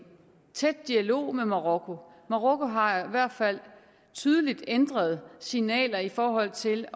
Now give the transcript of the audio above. tæt dialog med marokko marokko har i hvert fald tydeligt ændret signaler i forhold til